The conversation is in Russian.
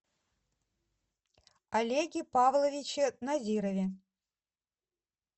олеге павловиче назирове